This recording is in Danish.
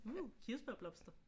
Uh kirsebærblomster!